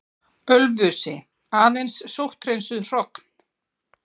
Ölfusi, aðeins sótthreinsuð hrogn.